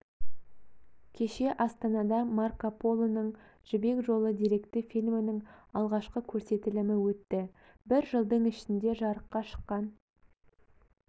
кеше астанада марко полоның жібек жолы деректі фильмінің алғашқы көрсетілімі өтті бір жылдың ішінде жарыққа шыққан